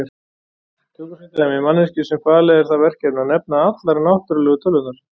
Tökum sem dæmi manneskju sem falið er það verkefni að nefna allar náttúrulegu tölurnar.